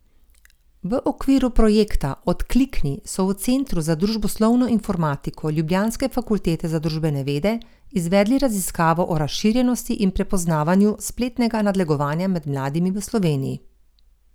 V okviru projekta Odklikni so v centru za družboslovno informatiko ljubljanske fakultete za družbene vede izvedli raziskavo o razširjenosti in prepoznavanju spletnega nadlegovanja med mladimi v Sloveniji.